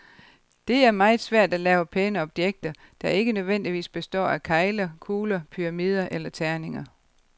Det er meget svært at lave pæne objekter, der ikke nødvendigvis består af kegler, kugler, pyramider eller terninger.